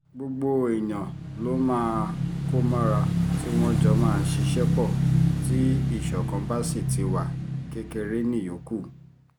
gbogbo èèyàn ló máa kó mọ́ra tí wọ́n jọ máa ṣiṣẹ́ pọ̀ tí ìṣọ̀kan bá sì ti wá kékeré níyókù